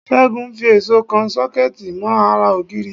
Ṣẹ́gun ń fi èṣó kan Ṣọ́kẹ́ẹ̀tì mọ́ ara ògiri